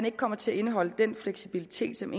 ikke kommer til at indeholde den fleksibilitet som